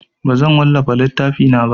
Bazan wallafa littafina ba.